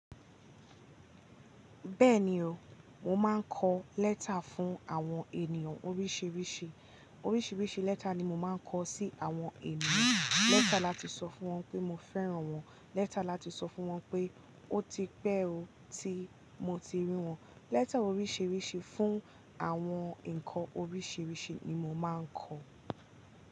Bẹ́ẹ̀ni o, mo máa ń kọ lẹ́tà fún àwọn ènìyàn oríṣiríṣi. Oríṣiríṣi lẹ́tà ni mo máa ń kọ sí àwọn ènìyàn. Lẹ́tà láti sọ fún wọn pé mo fẹ́ràn wọ́n, lẹ́tà láti sọ fún wọn pé ó ti pẹ́ o, tí mo ti rí wọ́n. Lẹ́tà oríṣiríṣi fún àwọn ǹkan oríṣiríṣi ni mo máa ń kọ.